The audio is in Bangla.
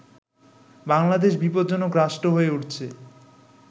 বাংলাদেশ বিপজ্জনক রাষ্ট্র হয়ে উঠছে